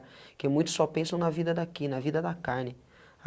Porque muitos só pensam na vida daqui, na vida da carne.